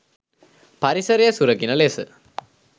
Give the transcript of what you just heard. පරිසරය සුරකින ලෙස